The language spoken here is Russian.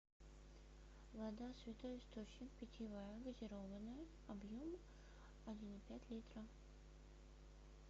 вода святой источник питьевая газированная объем один и пять литра